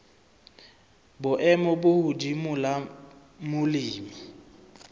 boemo bo hodimo la molemi